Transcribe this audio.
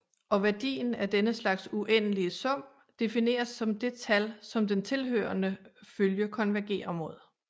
Og værdien af denne slags uendelige sum defineres som det tal som den tilhørende følge konvergerer mod